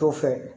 To fɛ